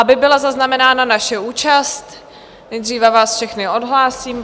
Aby byla zaznamenána naše účast, nejdříve vás všechny odhlásím.